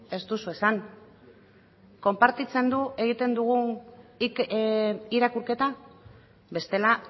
ez duzu esan konpartitzen du egiten dugun irakurketa bestela